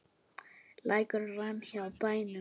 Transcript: Lækur rann hjá bænum.